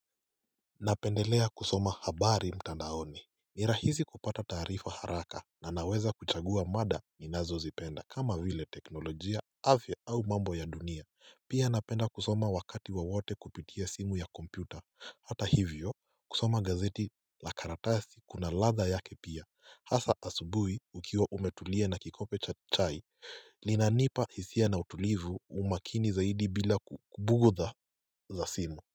Napendelea kusoma habari mtandaoni ni rahisi kupata tarifa haraka na naweza kuchagua mada ninazo zipenda kama vile teknolojia afya au mambo ya dunia pia napenda kusoma wakati wowote kupitia simu ya kompyuta. Hata hivyo kusoma gazeti la karatasi kuna ladha yake pia hasa asubuhi ukiwa umetulia na kikombe cha chai linanipa hisia na utulivu umakini zaidi bila bugudha za simu.